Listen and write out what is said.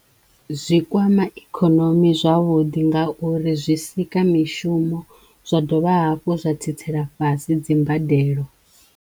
Zwi kwama ikhonomi zwavhuḓi nga uri zwi sika mishumo zwa dovha hafhu zwa tsitsela fhasi dzimbadelo.